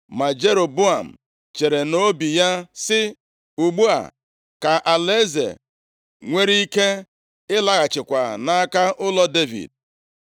Ma Jeroboam chere nʼobi ya, sị “Ugbu a, ka alaeze nwere ike laghachikwa nʼaka ụlọ Devid.